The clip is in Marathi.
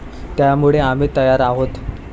त्यामुळे आम्ही तयार आहोत.